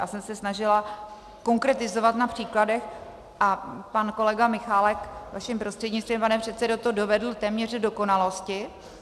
Já jsem se snažila konkretizovat na příkladech, a pan kolega Michálek, vaším prostřednictvím, pane předsedo, to dovedl téměř k dokonalosti.